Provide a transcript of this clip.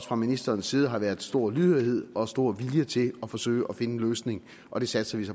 fra ministerens side har været stor lydhørhed og stor vilje til at forsøge at finde en løsning og det satser vi så